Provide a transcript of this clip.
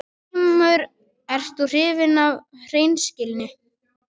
GRÍMUR: Ert þú hrifinn af hreinskilni?